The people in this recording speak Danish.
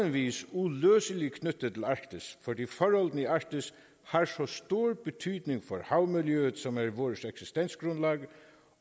vis uløseligt knyttet til arktis fordi forholdene i arktis har så stor betydning for havmiljøet som er vores eksistensgrundlag